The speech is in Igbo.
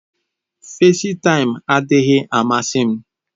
festaim adịghị amasị m.